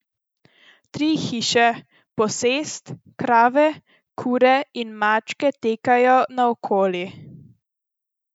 Tri hiše, posest, krave, kure in mačke tekajo naokoli.